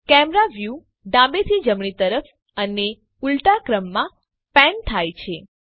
camera view ડાબેથી જમણી તરફ અને ઉલટાક્રમમાં પેન થાય છે